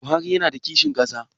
Buhari yana da kishin ƙasa?